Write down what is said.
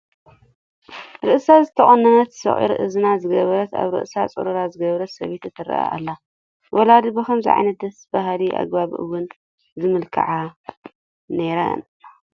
ርእሳ ዝተቖነነት፣ ሶቒር እዝኒ ዝገበረት፣ ኣብ ርእሳ ፅሩራ ዝገበረት ሰበይቲ ትርአ ኣላ፡፡ ወለዲ ብኸምዚ ዓይነት ደስ በሃሊ ኣገባብ እየን ዝመላክዓ ነይረን፡፡